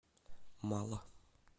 мало